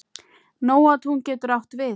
Nóatún getur átt við